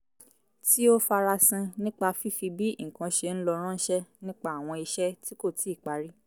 tí ó farasin nípa fífi bí nǹkan ṣe ń lọ ránṣẹ́ nípa àwọn iṣẹ́ tí kò tíì parí